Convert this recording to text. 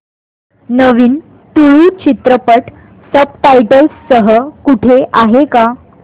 नवीन तुळू चित्रपट subtitles सह कुठे आहे का